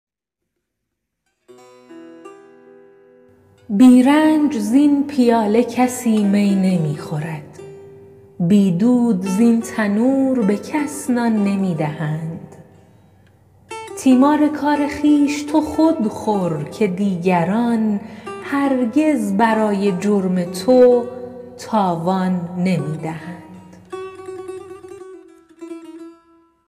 بی رنج زین پیاله کسی می نمی خورد بی دود زین تنور به کس نان نمی دهند تیمار کار خویش تو خود خور که دیگران هرگز برای جرم تو تاوان نمی دهند